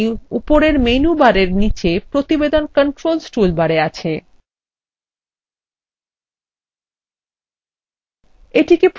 যেটি উপরের menu barএর নীচে প্রতিবেদন controls toolbar আছে